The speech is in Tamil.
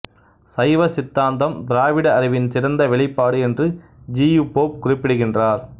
சைவ சித்தாந்தம் திராவிட அறிவின் சிறந்த வெளிப்பாடு என்று ஜி யு போப் குறிப்பிடுகின்றார்